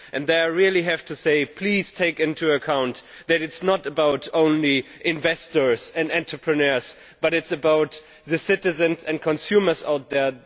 There I really have to say please take into account that it is not only about investors and entrepreneurs, but it is about the citizens and consumers out there.